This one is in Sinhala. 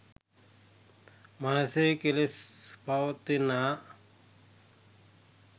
මනසෙහි කෙලෙස් පවතිනා